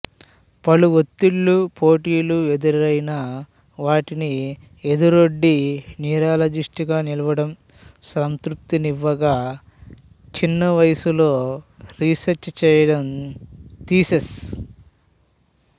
పలు వత్తిళ్ళు పోటీలు ఎదురైనా వాటిని ఎదురొడ్డి న్యూరాలజిస్టుగా నిలవడడం సంతృప్తినివ్వగా చిన్న వయసులో రీసెర్చ్ చెయ్యడం థిసీస్